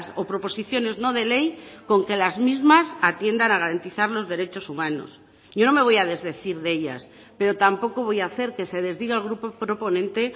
o proposiciones no de ley con que las mismas atiendan a garantizar los derechos humanos yo no me voy a desdecir de ellas pero tampoco voy a hacer que se desdiga el grupo proponente